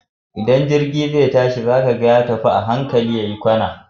Idan jirgi zai tashi, za ka ga ya tafi a hankali ya yi kwana.